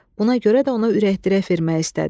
Buna görə də ona ürəkdərək vermək istədi.